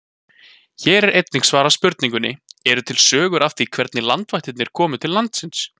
Hér er einnig svarað spurningunni: Eru til sögur af því hvernig landvættirnar komu til landsins?